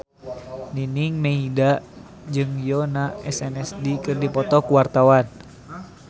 Nining Meida jeung Yoona SNSD keur dipoto ku wartawan